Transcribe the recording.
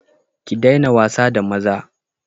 Ki daina wasa da maza!